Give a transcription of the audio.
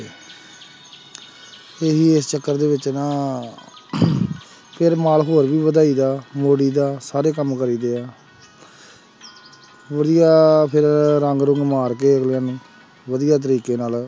ਇਸ ਚੱਕਰ ਦੇ ਵਿੱਚ ਨਾ ਫਿਰ ਮਾਲ ਹੋਰ ਵੀ ਵਧਾਈਦਾ ਮੋੜੀ ਦਾ ਸਾਰੇ ਕੰਮ ਕਰੀਦੇ ਆ ਵਧੀਆ ਫਿਰ ਰੰਗ ਰੁੰਗ ਮਾਰ ਕੇ ਅਗਲੇ ਨੂੰ ਵਧੀਆ ਤਰੀਕੇ ਨਾਲ